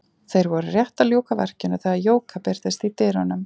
Þeir voru rétt að ljúka verkinu þegar Jóka birtist í dyrunum.